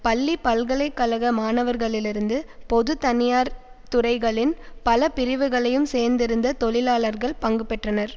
பள்ளி பல்கலை கழக மாணவர்களிலிருந்து பொது தனியார் துறைகளின் பல பிரிவுகளையும் சேர்ந்திருந்த தொழிலாளர்கள் பங்கு பெற்றனர்